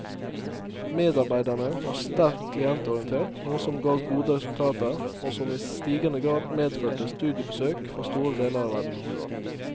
Medarbeiderne var sterkt klientorientert, noe som ga gode resultater, og som i stigende grad medførte studiebesøk fra store deler av verden.